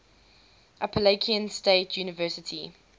appalachian state university